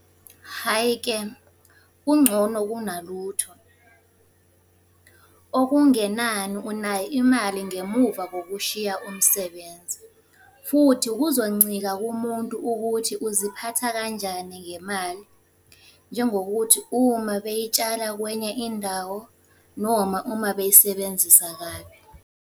Hhayi-ke, kungcono kunalutho. Okungenani unayo imali ngemuva kokushiya umsebenzi. Futhi kuzoncika kumuntu ukuthi uziphatha kanjani ngemali. Njengokuthi uma bey'tshala kwenye indawo noma uma beyisebenzisa kabi.